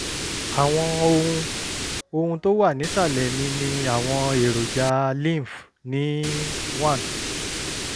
àwọn ohun ohun tó wà nísàlẹ̀ mi ni àwọn èròjà lymph ní one